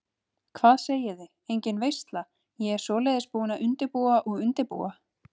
Hvað segiði, engin veisla, ég svoleiðis búin að undirbúa og undirbúa.